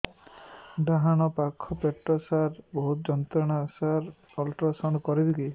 ଡାହାଣ ପାଖ ପେଟ ସାର ବହୁତ ଯନ୍ତ୍ରଣା ସାର ଅଲଟ୍ରାସାଉଣ୍ଡ କରିବି କି